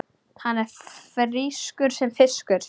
Hann er frískur sem fiskur.